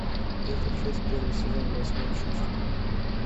пятая часть первый сезон восьмое чувство